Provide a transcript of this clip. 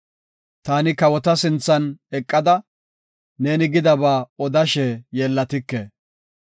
Taani kawota sinthan eqada, neeni gidaba odashe yeellatike.